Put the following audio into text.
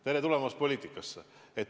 Tere tulemast poliitikasse!